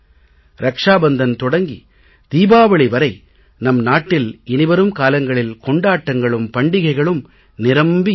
ரக்ஷா பந்தன் தொடங்கி தீபாவளி வரை நம் நாட்டில் இனி வரும் காலங்களில் கொண்டாட்டங்களும் பண்டிகைகளும் நிரம்பி இருக்கும்